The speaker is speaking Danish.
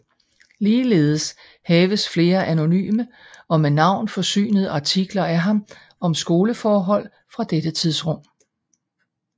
Ligeledes haves flere anonyme og med navn forsynede artikler af ham om skoleforhold fra dette tidsrum